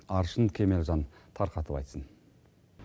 аршын кемелжан тарқатып айтсын